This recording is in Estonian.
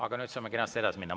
Aga nüüd saame kenasti edasi minna.